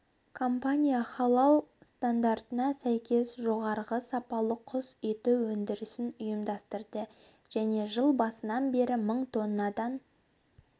компания халал стандартына сәйкес жоғары сапалы құс еті өндірісін ұйымдастырды және жыл басынан бері мың тоннадан